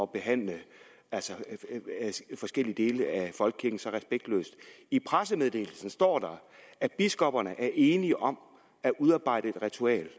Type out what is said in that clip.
behandle forskellige dele af folkekirken så respektløst i pressemeddelelsen står der at biskopperne er enige om at udarbejde et ritual